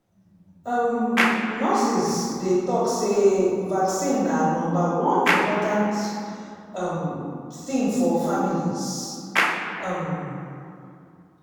um nurses dey talk say vaccine na number one important um thing for families. um